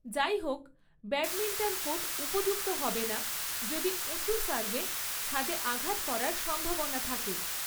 যাইহোক, badminton court উপযুক্ত হবে না যদি উঁচু সার্ভে ছাদে আঘাত করার সম্ভাবনা থাকে।